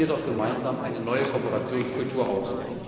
Bauen wir doch gemeinsam eine neue Kooperationskultur